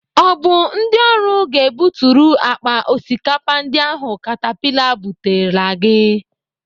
Ọ bụ ndị ọrụ ga-ebuturu akpa osikapa ndị ahụ katapila bulatara gị?